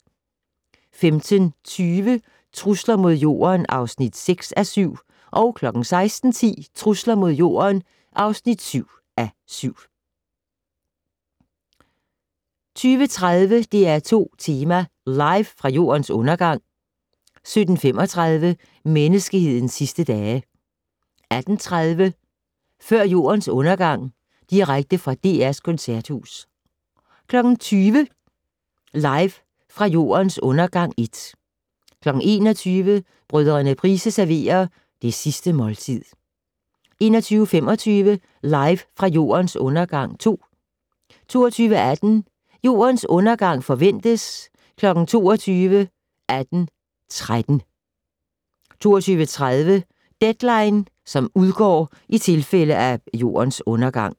15:20: Trusler mod Jorden (6:7) 16:10: Trusler mod Jorden (7:7) 17:30: DR2 Tema: Live fra Jordens Undergang 17:35: Menneskehedens Sidste Dage 18:30: Før Jordens Undergang - direkte fra DR's Koncerthus 20:00: Live fra Jordens Undergang (1) 21:00: Brødrene Price serverer Det Sidste Måltid 21:25: Live fra Jordens Undergang (2) 22:18: Jordens Undergang forventes kl. 22:18:13 22:30: Deadline (udgår i tilfælde af Jordens Undergang)